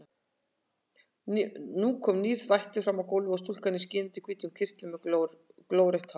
Nú kom nýr vættur fram á gólfið, stúlka í skínandi hvítum kyrtli með glórautt hár.